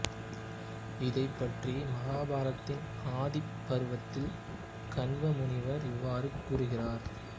இதைப் பற்றி மகாபாரதத்தின் ஆதி பர்வத்தில் கன்வ முனிவர் இவ்வாறு கூறுகிறார்